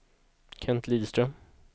Kent Lidström